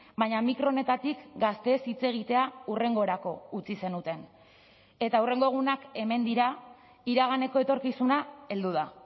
baina mikro honetatik gazteez hitz egitea hurrengorako utzi zenuten eta hurrengo egunak hemen dira iraganeko etorkizuna heldu da